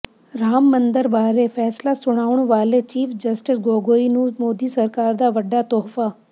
ਰਾਮ ਮੰਦਰ ਬਾਰੇ ਫੈਸਲਾ ਸੁਣਾਉਣ ਵਾਲੇ ਚੀਫ਼ ਜਸਟਿਸ ਗੋਗੋਈ ਨੂੰ ਮੋਦੀ ਸਰਕਾਰ ਦਾ ਵੱਡਾ ਤੋਹਫਾ